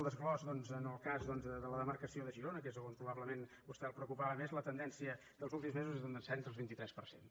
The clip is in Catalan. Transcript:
desglossament doncs en el cas de la demarcació de girona que és a on probablement a vostè el preocupava més la tendència dels últims mesos és d’un descens del vint tres per cent